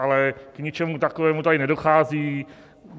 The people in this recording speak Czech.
Ale k ničemu takovému tady nedochází.